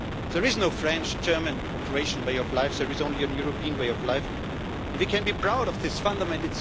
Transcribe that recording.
There is no French, German or Croatian way of life, there is only a European way of life, and we can be proud of this fundament.